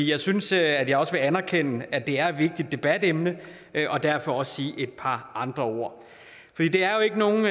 jeg synes at jeg også vil anerkende at det er et vigtigt debatemne og derfor også sige et par andre ord det er jo ikke nogen